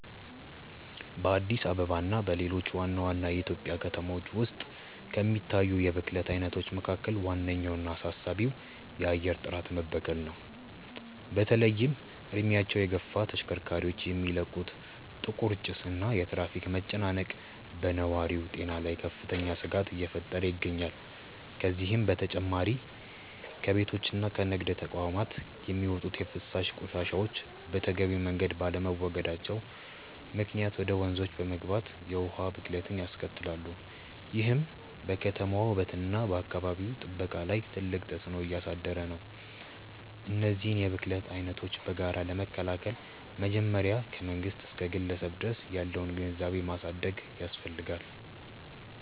በአዲስ አበባ እና በሌሎች ዋና ዋና የኢትዮጵያ ከተሞች ውስጥ ከሚታዩት የብክለት አይነቶች መካከል ዋነኛውና አሳሳቢው የአየር ጥራት መበከል ነው። በተለይም እድሜያቸው የገፉ ተሽከርካሪዎች የሚለቁት ጥቁር ጭስ እና የትራፊክ መጨናነቅ በነዋሪው ጤና ላይ ከፍተኛ ስጋት እየፈጠረ ይገኛል። ከዚህም በተጨማሪ ከቤቶችና ከንግድ ተቋማት የሚወጡ የፍሳሽ ቆሻሻዎች በተገቢው መንገድ ባለመወገዳቸው ምክንያት ወደ ወንዞች በመግባት የውሃ ብክለትን ያስከትላሉ፤ ይህም በከተማዋ ውበትና በአካባቢ ጥበቃ ላይ ትልቅ ተጽዕኖ እያሳደረ ነው። እነዚህን የብክለት አይነቶች በጋራ ለመከላከል መጀመሪያ ከመንግስት እስከ ግለሰብ ድረስ ያለውን ግንዛቤ ማሳደግ ያስፈልጋል።